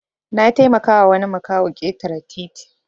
Nataimaka wa wani makaho ketare titi